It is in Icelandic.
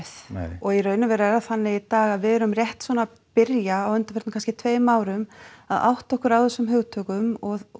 og í raun og veru er það þannig í dag að við erum rétt svona að byrja á undanförnum kannski tveimur árum að átta okkur á þessum hugtökum og